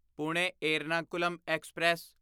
Pune Ernakulam express